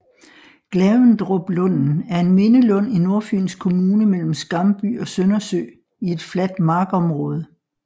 Glavendruplunden er en mindelund i Nordfyns Kommune mellem Skamby og Søndersø i et fladt markområde